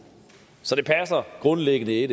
så det passer grundlæggende ikke